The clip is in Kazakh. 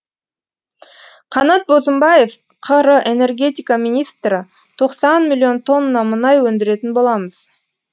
қанат бозымбаев қр энергетика министрі тоқсан миллион тонна мұнай өндіретін боламыз